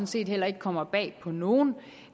set heller ikke kommer bag på nogen